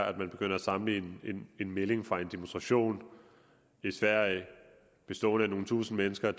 at begynde at sammenligne en melding fra en demonstration i sverige bestående af nogle tusinde mennesker